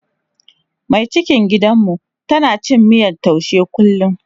Mai cikin gidanmu tana cin miyan taushe kullum.